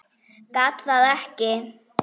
Gat það ekki.